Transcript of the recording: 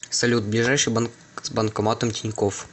салют ближайший банк с банкоматом тинькофф